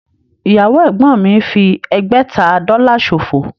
Ìyàwó ẹ̀gbọ́n mi fi ẹgbẹ̀ta Dọ́là ṣòfò